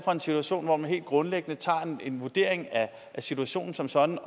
og en situation hvor man helt grundlæggende tager en vurdering af situationen som sådan